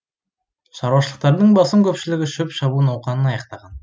шаруашылықтардың басым көпшілігі шөп шабу науқанын аяқтаған